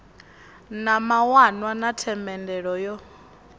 na mawanwa na themendelo yo